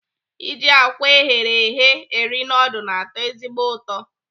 Iji àkwá eghere eghe eri nudul na-atọ ezigbo ụtọ.